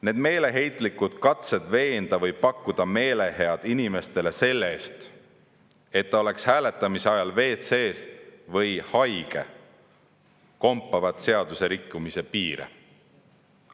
Need meeleheitlikud katsed veenda inimesi või pakkuda neile meelehead selle eest, et nad oleks hääletamise ajal WC‑s või haiged, kompavad seadusrikkumise piire.